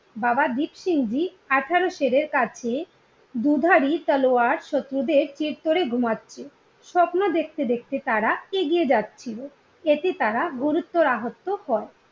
বাবা দীপসিং জি আঠেরো সেরের কাছে দুধারী তলোয়ার শত্রুদের করে ঘুমাচ্ছে স্বপ্ন দেখতে দেখতে তারা এগিয়ে যাচ্ছিলো এতে তারা গুরুতর আহত হয়